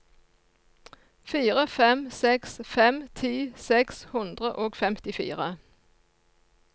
fire fem seks fem ti seks hundre og femtifire